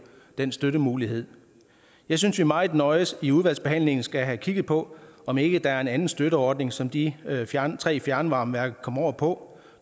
den støttemulighed jeg synes vi meget nøje i udvalgsbehandlingen skal have kigget på om ikke der er en anden støtteordning som de tre fjernvarmeværker komme over på